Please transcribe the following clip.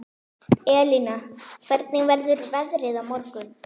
Elina, hvernig verður veðrið á morgun?